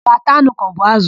Ọ ga-ata anụ kaọbụ ázụ̀?